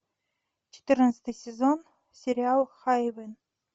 четырнадцатый сезон сериал хайвен